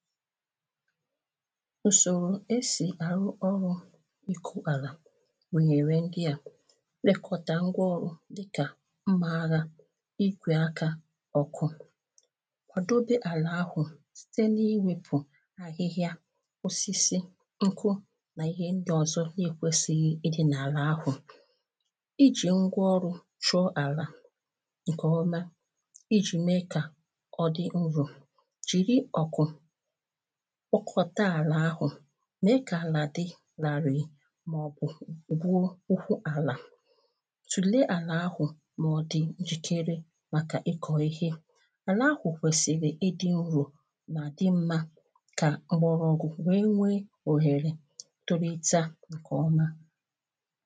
usoro esì àrụ ọrụ̇ ịkụ̇ àlà gụnyere ndị à "ilekọtà ngwa ọrụ̇ dịkà mmȧ agha igwè akȧ ọkụ kwàdobe àlà ahụ̀ site n’iwėpù ahịhịa osisi nkụ nà ihe ndị ọzọ n’ekwesighi ịdị̇ n’àlà, ahụ̀ ijì ngwa ọrụ̇ chụọ àlà nkè ọma ijì mee kà ọ dị nro jiri ọkụ̇ [paues] pkokọta àlà ahụ̀ mee kà àlà di ràrị̀ị màọbụ̀ gwuo ụkwụ àlà, tùlee àlà ahụ̀ mà ọdị njikere màkà ịkọ̇ ihe, àlà ahụ̀ kwèsìrì ịdị̇ nro ma di mmȧ kà m̀gbọ̀rọ̀gụ̀ nwe wee ohèrè torita nkè ọma